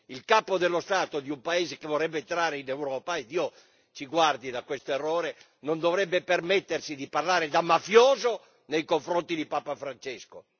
Il capo dello Stato di un paese che vorrebbe entrare in Europa, e Dio ci guardi da questo errore, non dovrebbe permettersi di parlare da mafioso nei confronti di Papa Francesco.